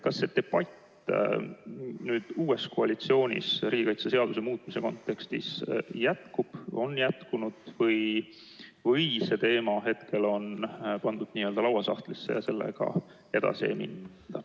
Kas uues koalitsioonis debatt riigikaitseseaduse muutmise üle jätkub, on jätkunud või on see teema pandud lauasahtlisse ja sellega edasi ei minda?